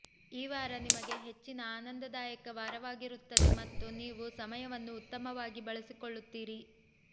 ಈ ವಾರ ನಿಮಗೆ ಹೆಚ್ಚಿನ ಆನಂದದಾಯಕ ವಾರವಾಗಿರುತ್ತದೆ ಮತ್ತು ನೀವು ಸಮಯವನ್ನು ಉತ್ತಮವಾಗಿ ಬಳಸಿಕೊಳ್ಳುತ್ತೀರಿ